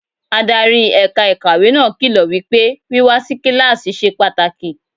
Adarí ẹ̀ka ìkàwé náà kìlọ̀ wípé wíwá si kíláàsì ṣe pàtàkì.